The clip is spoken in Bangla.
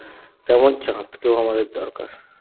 তেমন চাঁদকেও আমাদের দরকার